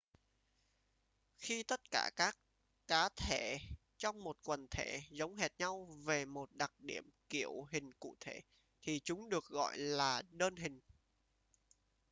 khi tất cả các cá thể trong một quần thể giống hệt nhau về một đặc điểm kiểu hình cụ thể thì chúng được gọi là đơn hình